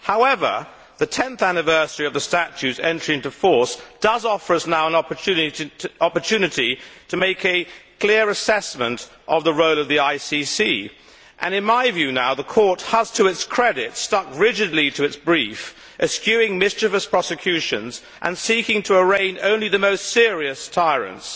However, the 10th anniversary of the Statute's entry into force does offer us now an opportunity to make a clear assessment of the role of the ICC and, in my view, the Court has, to its credit, stuck rigidly to its brief, eschewing mischievous prosecutions and seeking to arraign only the most serious tyrants.